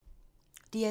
DR2